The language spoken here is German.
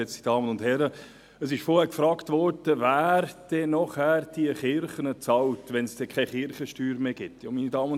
Meine Damen und Herren, dies ist ganz einfach: diejenigen, die sie brauchen, die Kunden!